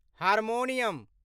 harmonium